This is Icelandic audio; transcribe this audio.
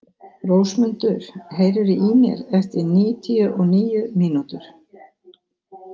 Rósmundur, heyrðu í mér eftir níutíu og níu mínútur.